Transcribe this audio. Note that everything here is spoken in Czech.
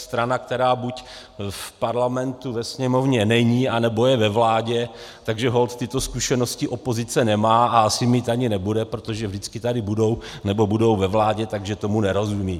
Strana, která buď v parlamentu, ve Sněmovně, není, anebo je ve vládě, takže holt tyto zkušenosti opozice nemá a asi mít ani nebude, protože vždycky tady budou, nebo budou ve vládě, takže tomu nerozumí.